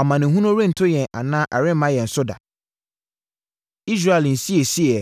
‘Amanehunu rento yɛn anaa ɛremma yɛn so da.’ Israel Nsiesieɛ